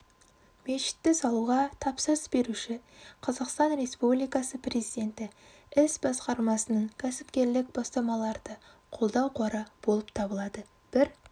мешітті салуға тапсырыс беруші қазақстан республикасы президенті іс басқармасының кәсіпкерлік бастамаларды қолдау қоры болып табылады бір